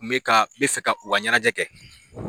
N be ka , n be fɛ ka u ka ɲɛnajɛ kɛ.